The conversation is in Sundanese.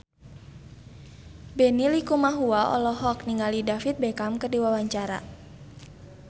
Benny Likumahua olohok ningali David Beckham keur diwawancara